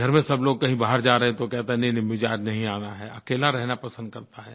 घर में सब लोग कहीं बाहर जा रहे हैं तो कहता है नहींनहीं मुझे आज नहीं आना है अकेला रहना पसंद करता है